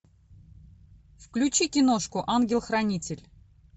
включи киношку ангел хранитель